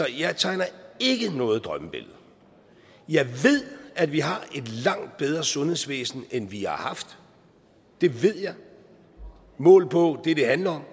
jeg tegner ikke noget drømmebillede jeg ved at vi har et langt bedre sundhedsvæsen end vi har haft det ved jeg målt på det det handler